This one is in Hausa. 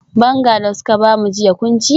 Banga da suka bamu jiya kun ci?